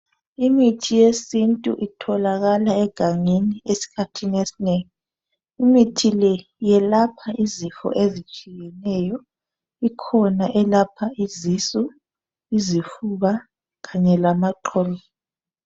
Imithi yesintu itholakala egangeni eskhathini esinengi , imithi le yelapha izifo ezitshiyetshiyeneyo , ikhona elapha izisu , izifuba kanye lamaqolo